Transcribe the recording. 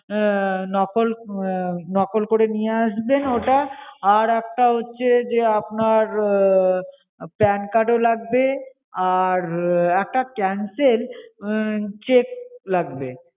আহ নকল আহ নকল করে নিয়ে আসবেন ওটা, আর একটা হচ্ছে যে আপনার আহ pan card ও লাগবে, আর আহ একটা cancel আহ cheque লাগবে।